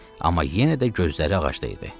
Amma yenə də gözləri ağacda idi.